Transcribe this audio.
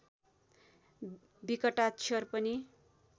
विकटाक्षर पनि